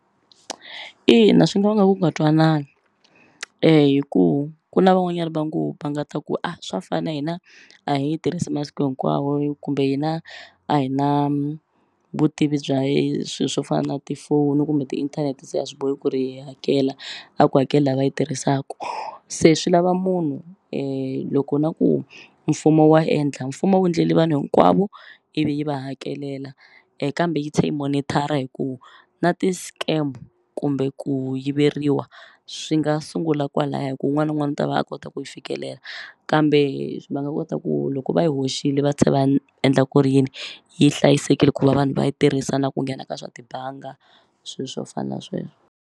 Ina swi nga vanga ku nga twanani hi ku ku na van'wanyana va ngo va nga ta ku a swa fana hina a hi yi tirhisi masiku hinkwawo kumbe hina a hi na vutivi bya swi swo fana na tifoni kumbe tiinthanete se a swi bohi ku ri hakela a ku hakeli la va yi tirhisaku se swi lava munhu loko na ku mfumo wa endla mfumo a wu ndleli vanhu hinkwavo ivi yi va hakelela kambe yi tlhe yi monitor-a hi ku na ti-scam kumbe ku yiveriwa swi nga sungula kwalaya hi ku wun'wana wun'wani u ta va a kota ku yi fikelela kambe va nga kota ku loko va yi hoxile va tlhe va endla ku ri yini yi hlayisekile ku va vanhu va yi tirhisa na ku nghena ka swa tibanga sweswo fana na sweswo.